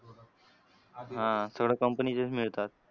हां सगळं company चेच मिळतात.